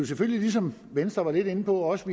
selvfølgelig ligesom venstre var lidt inde på også